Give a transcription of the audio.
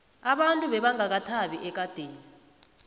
abantu bebangakathabi ekadeni